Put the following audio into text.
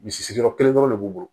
Misi sigiyɔrɔ kelen dɔrɔn de b'u bolo